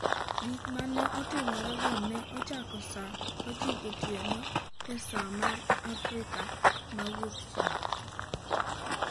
Gik ma ne otimrego ne ochako saa 9 otieno e saa mar Afrika ma Wuokchieng’.